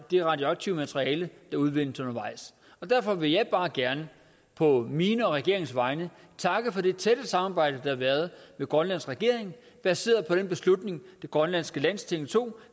det radioaktive materiale der udvindes undervejs derfor vil jeg bare gerne på mine og regeringens vegne takke for det tætte samarbejde har været med grønlands regering baseret på den beslutning det grønlandske landsting tog